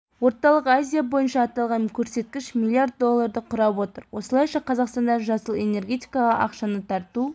орталық азия бойынша аталған көрсеткіш миллиард долларды құрап отыр осылайша қазақстанда жасыл энергетикаға ақшаны тарту